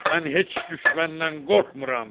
Mən heç düşməndən qorxmuram.